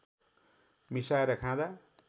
मिसाएर खाँदा